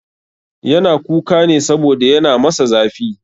Yana kuka ne saboda yana masa zafi.